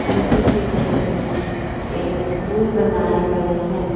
नदी के बगल में एक पूल बनाया गया है।